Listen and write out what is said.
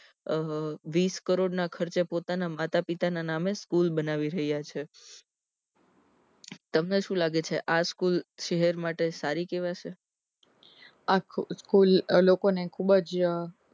અમ વીસ કરોડ ના ખર્ચે પોતાના માતા પિતા ના નામે સ્કૂલ બનાવી રહ્યા છે તમને શું લાગે છે આ સ્કૂલ શહેર માટે સારી કહેવાશે આ સ્કૂલ લોકો ને ખુબજ અ